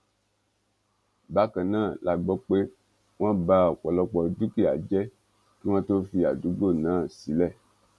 bákan náà la gbọ pé wọn bá ọpọlọpọ dúkìá jẹ kí wọn tóó fi àdúgbò náà sílẹ